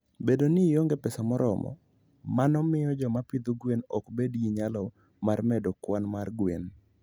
Bedo ni onge pesa moromo, mano miyo joma pidho gwen ok bed gi nyalo mar medo kwan mar gwen.